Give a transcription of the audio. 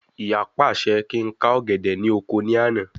Ìyá pàṣẹ kí ń ká ọ̀gẹ̀dẹ̀ ni oko ní àná